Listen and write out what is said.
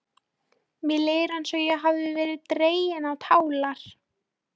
Mér líður eins og ég hafi verið dregin á tálar.